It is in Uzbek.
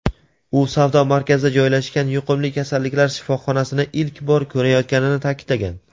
U savdo markazida joylashgan yuqumli kasalliklar shifoxonasini ilk bor ko‘rayotganini ta’kidlagan.